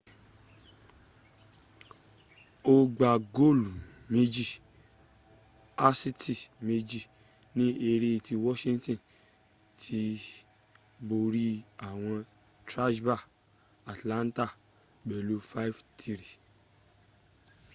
ó gbá góòlù 2 asisti 2 ni eré tí wọ́ṣíntíni ti borí àwọn trasha atlanta pẹ̀lú 5-3